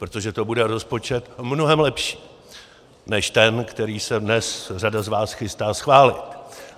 Protože to bude rozpočet mnohem lepší než ten, který se dnes řada z vás chystá schválit.